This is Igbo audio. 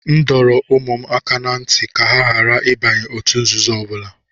M dọrọ ụmụ m aka ná ntị ka ha ghara ịbanye òtù nzuzo ọbụla